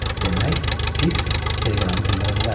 Demək, Fiks teleqramı göndərə bilərdi.